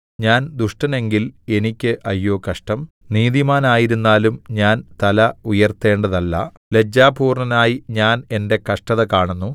ഞാൻ ദുഷ്ടനെങ്കിൽ എനിയ്ക്ക് അയ്യോ കഷ്ടം നീതിമാനായിരുന്നാലും ഞാൻ തല ഉയർത്തേണ്ടതല്ല ലജ്ജാപൂർണ്ണനായി ഞാൻ എന്റെ കഷ്ടത കാണുന്നു